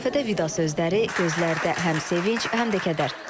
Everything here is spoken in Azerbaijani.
Lövhədə vida sözləri, gözlərdə həm sevinc, həm də kədər.